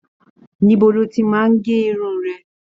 Níbo lo ti máa n gé irun rẹ?